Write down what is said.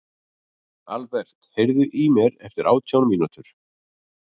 Aðalbert, heyrðu í mér eftir átján mínútur.